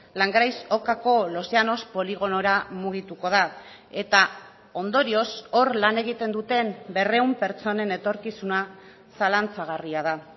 langraiz okako los llanos poligonora mugituko da eta ondorioz hor lan egiten duten berrehun pertsonen etorkizuna zalantzagarria da